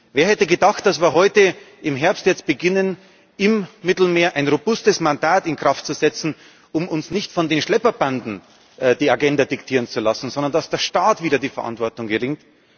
Wer hätte gedacht, dass wir jetzt im Herbst beginnen, im Mittelmeer ein robustes Mandat in Kraft zu setzen, um uns nicht von den Schlepperbanden die Agenda diktieren zu lassen, sondern dass der Staat wieder die Verantwortung übernimmt?